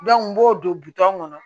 n b'o don kɔnɔ